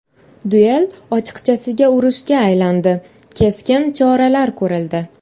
Duel ochiqchasiga urushga aylandi, keskin choralar ko‘rildi.